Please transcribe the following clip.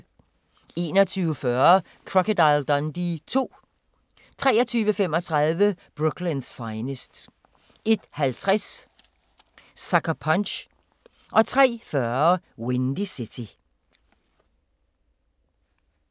21:40: Crocodile Dundee II 23:35: Brooklyn's Finest 01:50: Sucker Punch 03:40: Windy City